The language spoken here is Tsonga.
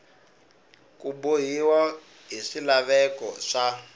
ku bohiwa hi swilaveko swa